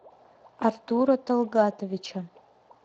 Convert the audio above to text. артура талгатовича